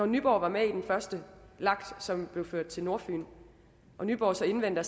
nyborg var med i den første lag som blev ført til nordfyn og nyborg så indvendte at